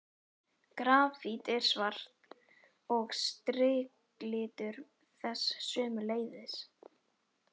Grafít er svart og striklitur þess sömuleiðis.